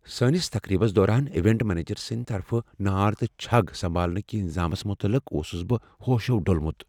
سانس تقریبس دوران ایونٹ منیجر سٕنٛد طرفہٕ نار تہٕ چھگ سمبھالنہٕ کس انتظامس متعلق اوسس بہ ہوشو ڈولمت۔